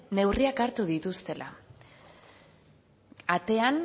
neurriak hartu dituztela atean